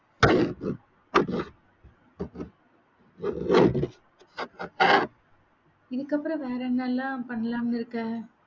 இதுக்கப்புறம் வேற என்னெல்லாம் பண்ணலாம்னு இருக்க?